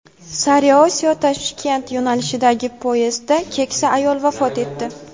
Sariosiyo-Toshkent yo‘nalishidagi poyezdda keksa ayol vafot etdi.